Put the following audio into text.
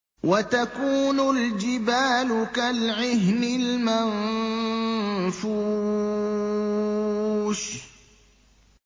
وَتَكُونُ الْجِبَالُ كَالْعِهْنِ الْمَنفُوشِ